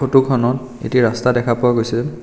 Photo খনত এটি ৰাস্তা দেখা পোৱা গৈছে।